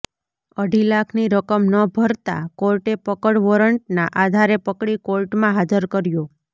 અઢી લાખની રકમ ન ભરતા કોર્ટે પકડ વોરંટના આધારે પકડી કોર્ટમાં હાજર કર્યો